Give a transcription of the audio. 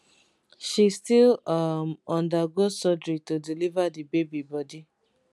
she still um undergo surgery to deliver di baby body